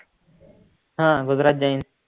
हा गुजरात गईंनटस